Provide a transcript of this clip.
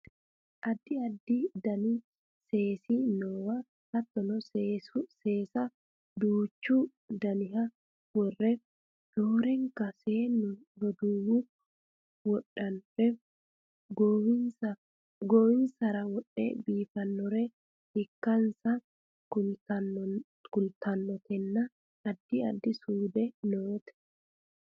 addi addi dani seesi noowa hattono seesa duuchu daniha worre roorenka seennu roduuwi wodhannore goowinsara wodhe biifannore ikkansa kultannotenna addi addi suude noote